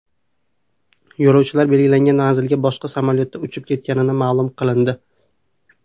Yo‘lovchilar belgilangan manzilga boshqa samolyotda uchib ketganligi ma’lum qilindi.